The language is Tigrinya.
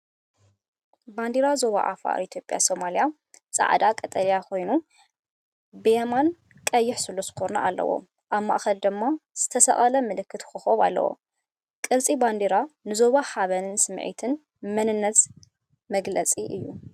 ባንዴራ ዞባ ዓፋር ኢትዮጵያ ሰማያዊ፣ ጻዕዳ፣ ቀጠልያ ኮይኑ፣ ብየማን ቀይሕ ስሉስ ኩርናዕ ኣለዎ። ኣብ ማእከል ድማ ዝተሰቕለ ምልክትን ኮኾብን ኣሎ። ቅርጺ ባንዴራ ንዞባ ሓበንን ስምዒት መንነትን ዝገልጽ እዩ።